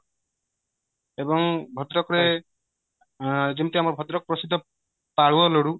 ଏବଂ ଭଦ୍ରକ ରେ ଯେମିତି ଆମ ଭଦ୍ରକ ପ୍ରସିଦ୍ଧ ପାଳୁଅ ଲଡୁ